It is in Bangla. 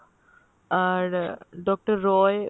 আর আহ Doctor রায়